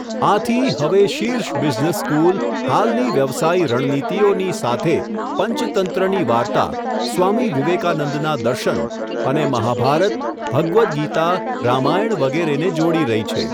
આથી, હવે શીર્ષ બિઝનેસ સ્કૂલ, હાલની વ્યવસાયી રણનીતિઓની, સાથે પંચતંત્રની વાર્તા, સ્વામી વિવેકાનંદના દર્શન, અને મહાભારત, ભગવદ્ ગીતા, રામાયણ વગેરેને જોડી રહી છે.